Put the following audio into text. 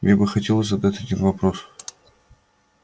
мне бы хотелось задать один вопрос